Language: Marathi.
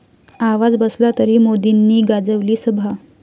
आवाज बसला तरी मोदींनी गाजवली सभा